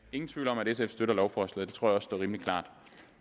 ingen tvivl om at sf støtter lovforslaget og står rimelig klart